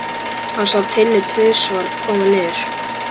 Hann sá Tinnu tvisvar koma niður.